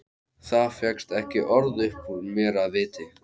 Það fékkst ekki orð upp úr mér af viti.